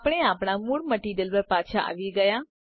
આપણે આપણા મૂળ મટીરીયલ પર પાછા આવી ગયા